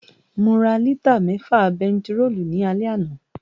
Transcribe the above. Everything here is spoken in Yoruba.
Mo ra lítà mẹ́fà bentiróòlù ní alẹ́ àná